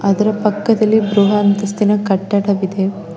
ಇದರ ಪಕ್ಕದಲಿ ಬ್ರುಹ ಅಂತಸ್ತಿನ ಕಟ್ಟಡವಿದೆ.